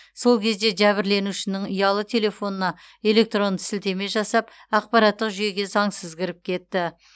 сол кезде жәбірленушінің ұялы телефонына электронды сілтеме жасап ақпараттық жүйеге заңсыз кіріп кетті